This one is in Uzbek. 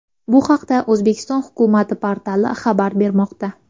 Bu haqda O‘zbekiston hukumati portali xabar bermoqda .